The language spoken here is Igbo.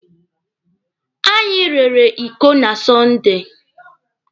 Anyị rere iko na Sọnde.